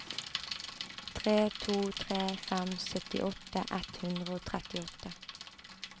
tre to tre fem syttiåtte ett hundre og trettiåtte